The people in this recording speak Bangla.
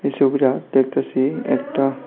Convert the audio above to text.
এই ছবিটা দেখতাছি একটা।